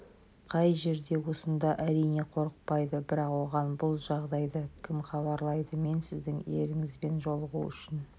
қай жерде осында әрине қорықпайды бірақ оған бұл жағдайды кім хабарлайды мен сіздің еріңізбен жолығу үшін